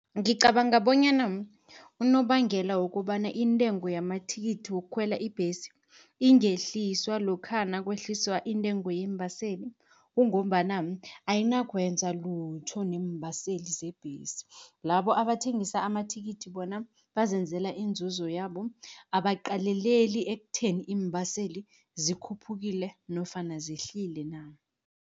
Ngicabanga bonyana unobangela wokobana, intengo yamathikithi wokukhwela ibhesi ingehliswa lokha nakwehliswa intengo yeembaseli. Kungombana ayinakwenza lutho neembaseli zebhesi, labo abathengisa amathikithi bona bazenzela inzuzo yabo, abaqaleleli ekutheni iimbaseli zikhuphukile nofana zehlile na.